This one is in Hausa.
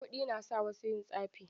Kuɗi na sa wasu yin tsafi.